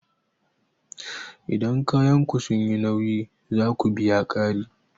Idan kayanku sun yi nauyi, za ku biya ƙari